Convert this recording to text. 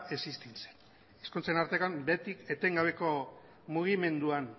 existitzen hizkuntzen artean beti etengabeko mugimenduan